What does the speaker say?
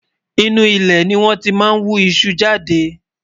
inú ilé ní wón tí má ń wú iṣu jáde